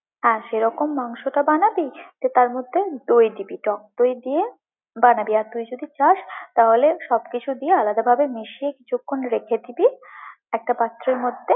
হ্যাঁ, সেরকম মাংসটা বানাবি, যে তার মধ্যে দই দিবি, টক দই দিয়ে বানাবি, আর তুই যদি চাস, তাহলে সবকিছু দিয়ে আলাদাভাবে মিশিয়ে কিছুক্ষন রেখে দিবি একটা পাত্রের মধ্যে।